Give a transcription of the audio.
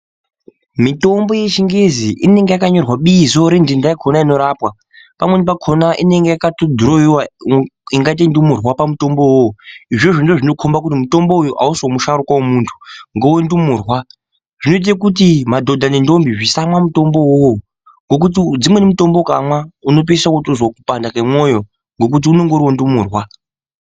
Mitombo yechingezi inenge yakanyorwa bizo renhtenhta yakona inorapwa .Pamweni pakona inenge yakatodhiroiwa ingatei indumurwa pamutombo uwowo. Izvozvo ndizvo zvinokomba kuti mutombo uyoyo ausi wemusharuka wemunh ngewendumurwa . Zvinokomba kuti madhodha nendombi asamwa mutombo uyoyo . Dzimweni mitombo ukamwa unotopedzisira wozwa kupanda kwemwoyo ngekuti ngewendumurwa .